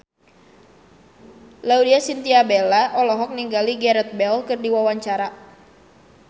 Laudya Chintya Bella olohok ningali Gareth Bale keur diwawancara